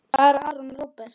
Fara Aron og Róbert?